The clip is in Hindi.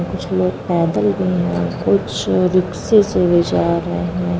कुछ लोग पैदल भी हैं कुछ रिक्शे से भी जा रहे हैं |